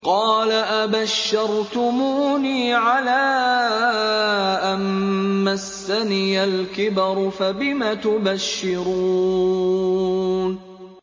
قَالَ أَبَشَّرْتُمُونِي عَلَىٰ أَن مَّسَّنِيَ الْكِبَرُ فَبِمَ تُبَشِّرُونَ